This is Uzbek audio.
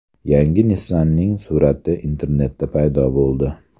Yangi Nissan’ning surati internetda paydo bo‘ldi.